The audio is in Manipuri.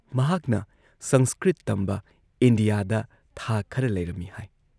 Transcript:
ꯃꯍꯥꯛꯅ ꯁꯪꯁꯀ꯭ꯔꯤꯠ ꯇꯝꯕ ꯏꯟꯗꯤꯌꯥꯗ ꯊꯥ ꯈꯔ ꯂꯩꯔꯝꯃꯤ ꯍꯥꯏ